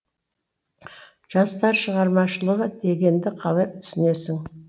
жастар шығармашылығы дегенді қалай түсінесің